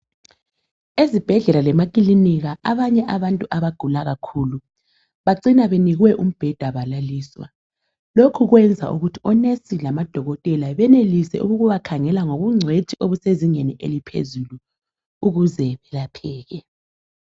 Ezibhedlela lemakilinika abanye abantu abagula kakhulu bacina benikwe umbheda balaliswa. Lokhu kwenza ukuthi onesi labodokotela benelise ukubakhangela ngobungcwethi obusezingeni eliphezulu ukuze belapheke.